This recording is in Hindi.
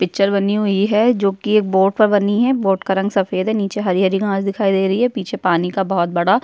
पिक्चर बानी हुई है जो कि एक बोट पे बानी है बोट का रंग सफ़ेद है नीचे हरी-हरी घास दिखाई दे रही है पीछे पानी का बहुत बड़ा --